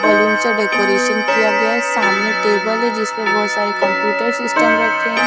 Balloon से decoration किया गया है सामने टेबल है जिसपे बहुत सारे कंप्यूटर सिस्टम रखे हैं।